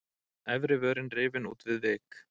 Efri vörin rifin út við vik.